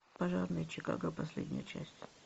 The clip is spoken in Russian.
пожарные чикаго последняя часть